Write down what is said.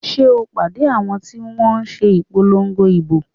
Sé o pàdé àwọn ti wọ́n n se ìpolongo ìbò?